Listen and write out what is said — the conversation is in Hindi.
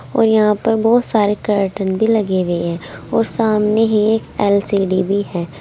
और यहां पर बहोत सारे कार्टन भी लगे हुए है और सामने ही एल_सी_डी भी है।